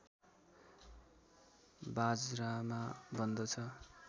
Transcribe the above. बाजरामा बन्दछ